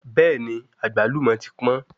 Bẹ́ẹ̀ni àgbálùmọ́ ti pọ́n